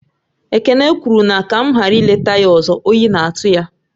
Ekene kwuru na ka m ghara ị leta ya ọzọ, oyi na-atụ ya